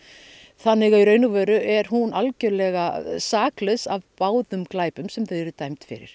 þannig að í raun að veru er hún algjörlega saklaus af báðum glæpum sem þau eru dæmd fyrir